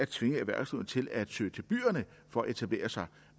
tvinge erhvervslivet til at søge til byerne for at etablere sig